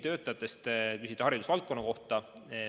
Te küsisite haridusvaldkonna kohta.